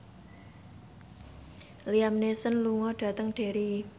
Liam Neeson lunga dhateng Derry